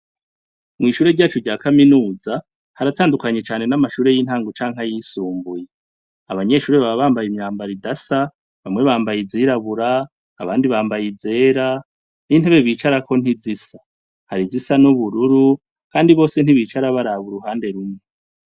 Mw'ishure ryacu rya kaminuza haratandukanye cane n'amashure y'intango canke y'isumbuye, Abanyeshure baba bambaye imyambara idasa, bamwe bambaye izirabura abandi bambaye izera, n'intebe bicarako ntizisa hari zisa n'ubururu ,kandi bose ntibicara baraba uruhande rumwe.